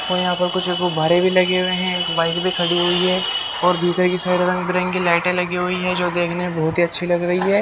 और यहां पर कुछ गुब्बारे भी लगे हुए हैं एक बाइक भी खड़ी हुई है और भीतर की साइड रंग बिरंगी लाइटें लगी हुई हैं जो देखने में बहुत ही अच्छी लग रही है।